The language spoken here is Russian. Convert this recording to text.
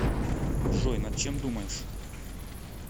джой над чем думаешь